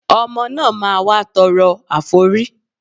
Ọmọ náà máa wá tọrọ àforí